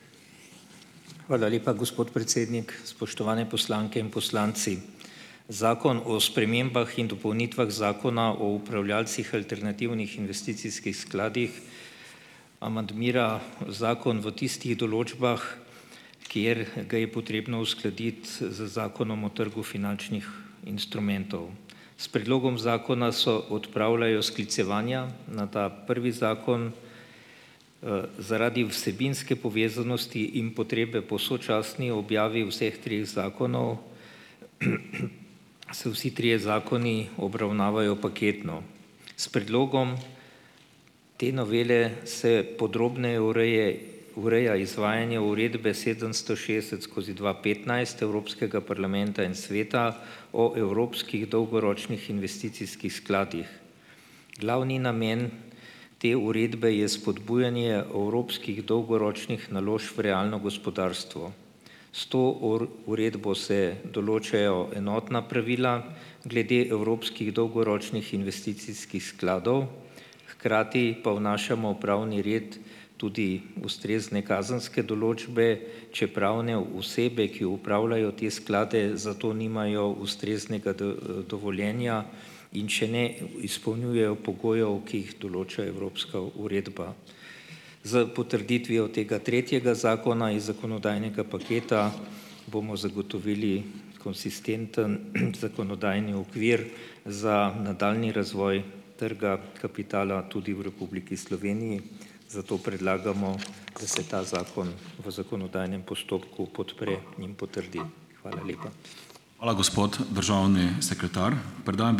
Hvala lepa, gospod predsednik. Spoštovane poslanke in poslanci! Zakon o spremembah in dopolnitvah Zakona o upravljalcih alternativnih investicijskih skladih amandmira zakon v tistih določbah, kjer ga je potrebno uskladiti z Zakonom o trgu finančnih instrumentov. S predlogom zakona so odpravljajo sklicevanja na ta prvi zakon, zaradi vsebinske povezanosti in potrebe po sočasni objavi vseh treh zakonov se vsi trije zakoni obravnavajo paketno. S predlogom te novele se podrobneje ureje ureja izvajanje uredbe sedemsto šestdeset skozi dva petnajst Evropskega parlamenta in Sveta o evropskih dolgoročnih investicijskih skladih. Glavni namen te uredbe je spodbujanje evropskih dolgoročnih naložb v realno gospodarstvo. S to uredbo se določajo enotna pravila glede evropskih dolgoročnih investicijskih skladov, hkrati pa vnašamo v pravni red tudi ustrezne kazenske določbe, če pravne osebe, ki upravljajo te sklade, za to nimajo ustreznega dovoljenja in če ne izpolnjujejo pogojev, ki jih določa evropska uredba. S potrditvijo tega tretjega zakona iz zakonodajnega paketa bomo zagotovili konsistenten zakonodajni okvir za nadaljnji razvoj trga kapitala tudi v Republiki Sloveniji, zato predlagamo, da se ta zakon v zakonodajam postopku podpre in potrdi. Hvala lepa.